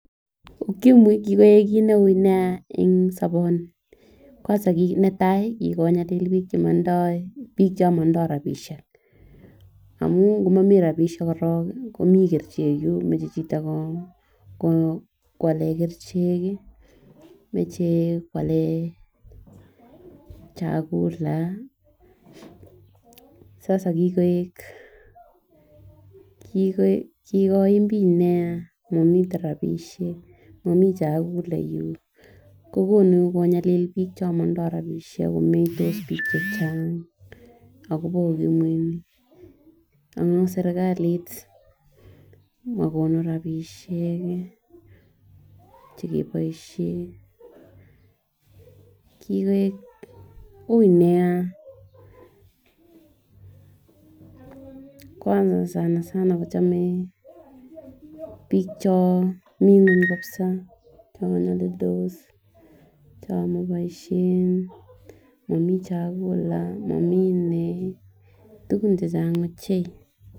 Ukimwi kikoik kit neu nia en soboni kwanza kit netai kikinyalili bik Chon motindoi bik Chon motindoi bik chomotindoi rabishek amun komomii rabishek korong komii kerichek yun moche chito ko ko kwalen kerichek kii moche kwalen chakula sasa kikooik kokoin bkikoim bik nia momiten rabishek momiii chakula yuu kokonu konyali bik Chon motindoi rabishek komeitos bik chechang amun sirkalit mokonu rabishek chekeboishen. Kikoik ui nia kwanza sanasana kochome bik Chon mii ngweny kabisa chon nyolildis cho maboishe momii chakula momii nee tukun chemge ochei.